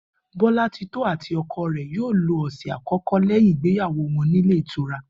Bó̩látitó̩ àti o̩ko̩ rè̩ yóò lo ò̩sè̩ àkó̩kó̩ léyìn ìgbéyàwó wo̩n nílé ìtura